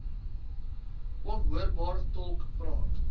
onhoorbaar tolk praat